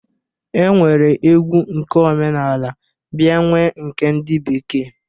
E nwere egwu nke omenaala bịa nwee nke ndị bekee.